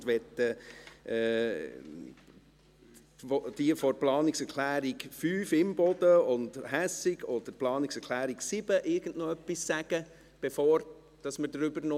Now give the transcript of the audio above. Und möchten die Urheberinnen von Planungserklärung 5, Imboden und Hässig, oder von Planungserklärung 7 noch irgendetwas sagen, bevor wir noch darüber sprechen?